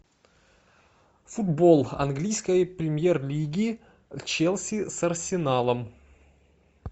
футбол английской премьер лиги челси с арсеналом